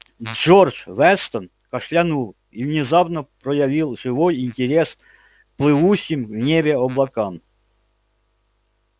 джордж вестон кашлянул и внезапно проявил живой интерес к плывущим в небе облакам